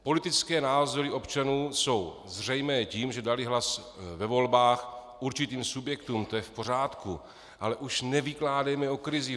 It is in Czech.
Politické názory občanů jsou zřejmé tím, že dali hlas ve volbách určitým subjektům, to je v pořádku, ale už nevykládejme o krizi.